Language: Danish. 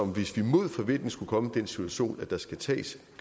hvis man mod forventning skulle komme i den situation at der skal tages